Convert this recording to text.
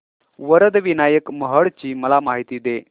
वरद विनायक महड ची मला माहिती दे